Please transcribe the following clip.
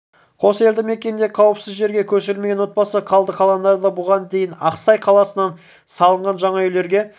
қос елді мекенде қауіпсіз жерге көшірілмеген отбасы қалды қалғандары бұған дейін ақсай қаласынан салынған жаңа үйлерге